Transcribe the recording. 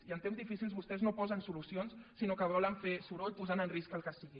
i en temps difícils vostès no posen solucions sinó que volen fer soroll posant en risc el que sigui